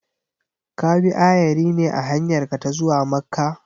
Ka bi ayari ne a hanyarka ta zuwa Makka?